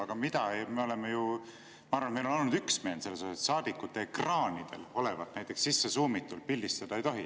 Aga ma arvan, et meil on olnud üksmeel selles, et saadikute ekraanidel olevat lähemale suumitult pildistada ei tohi.